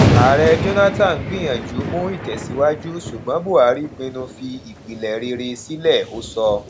ààrẹ jonathan gbìyànjú mú ìtẹsíwájú ṣùgbọn buhari pinnu fi ìpìlẹ rere sílẹ ó sọ